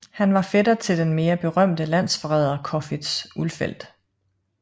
Han var fætter til den mere berømte landsforræder Corfitz Ulfeldt